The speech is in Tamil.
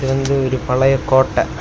இது வந்து ஒரு பழைய கோட்டை.